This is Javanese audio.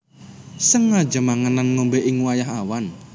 Sengaja mangan lan ngombé ing wayah awan